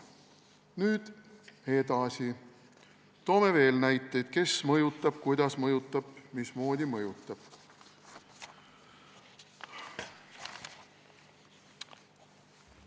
Nüüd edasi, toon veel näiteid, kes mõjutab, kuidas mõjutab, mismoodi mõjutab.